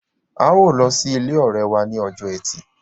ào ló sì ilé òré wá ní Ọjọ́ Ẹti.